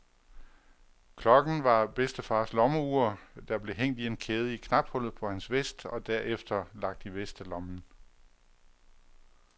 Klokken var bedstefars lommeur, der blev hængt i en kæde i knaphullet på hans vest og derefter lagt i vestelommen.